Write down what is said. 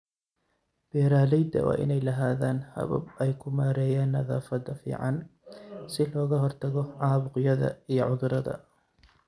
Beeralayda waa inay lahaadaan habab ay ku maareeyaan nadaafadda finan si looga hortago caabuqyada iyo cudurrada.